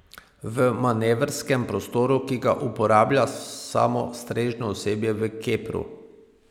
V manevrskem prostoru, ki ga uporablja samo strežno osebje v kepru.